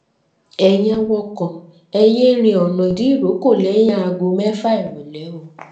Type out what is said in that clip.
ẹ̀yin awakọ̀ ẹ yéé rin ọ̀nà ìdírókò lẹ́yìn aago mẹ́fà ìrọ̀lẹ́ o